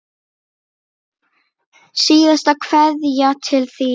Síðasta kveðja til þín.